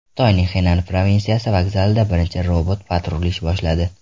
Xitoyning Xenan provinsiyasi vokzalida birinchi robot-patrul ish boshladi.